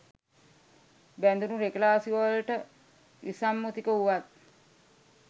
බැඳුණ රෙගුලාසිවලට විසම්මුතික වුවත්